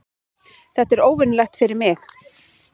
Þetta er óvenjulegt fyrir mig.